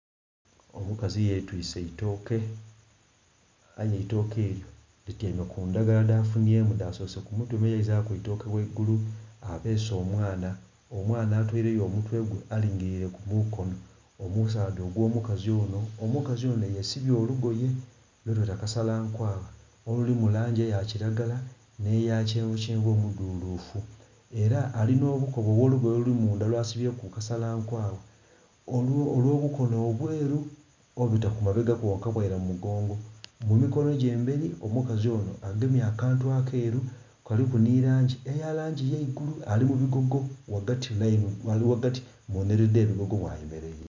Omukazi yetwise eitoke aye eitoke elyo lityaime ku ndhagala dhafunhyemu dha sose ku mutwe me yeizaku eitoke ghaigulu. Abeese omwana, omwana atoileyo omutwe gwe alingilire ku mukonho omusaadha ogwo omukazi onho. Omukazi onho yesibye olugoye lwetweta kasala nkwagha oluli mu langi eya kilagala nhe ya kyenvukyenvu omudhulufu. Era alina obukoba obwolugoye oluli mundha lwasibyeku kasala nkwagha olw'obukono obweru, obubita ku mabega kwonka bweira mu mugongo. Mu mikono gye emberi omukazi onho agemye akantu akeeru kaliku nhi langi eya langi ye igulu. Ali mu bigogo ali ghagati, ali ghagati mu nhiliri dhe bigogo mwayemeleire.